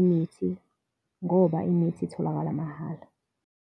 imithi ngoba imithi itholakala mahhala.